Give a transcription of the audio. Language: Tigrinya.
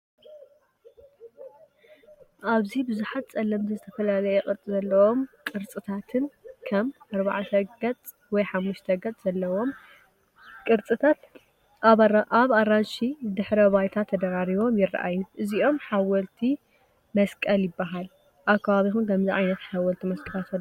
ኣብዚ ብዙሓት ጸለምትን ዝተፈላለየ ቅርጺ ዘለዎምን ቅርጽታት፡ ከም ኣርባዕተ ገጽ ወይ ሓሙሽተ ገጽ ዘለዎም ቅርጽታት፡ ኣብ ኣራንሺ ድሕረ ባይታ ተደራሪቦም ይረኣዩ። እዚኦም ሓወልቲ መስቀል ይባሃል። ኣብ ከባቢኩም ከ ከምዚ ዓይነት ሓወልቲ መስቀላት ኣለው ዶ?